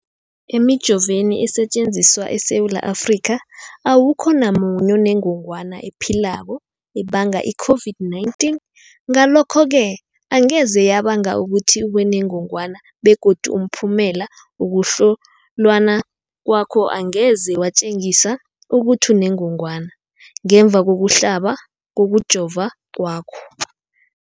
Emijoveni esetjenziswa eSewula Afrika, awukho namunye onengog wana ephilako ebanga i-COVID-19. Ngalokho-ke angeze yabanga ukuthi ubenengogwana begodu umphumela wokuhlolwan kwakho angeze watjengisa ukuthi unengogwana ngemva kokuhlaba, kokujova kwakho.